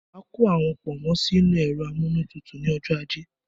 Má kó àwọn pọ̀nmọ́ sì inú ẹ̀rọ amúnútutù ni ọjọ́ ajé